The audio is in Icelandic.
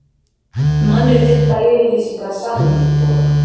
Mannréttindayfirlýsingar Sameinuðu þjóðanna.